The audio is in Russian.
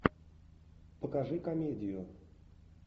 покажи комедию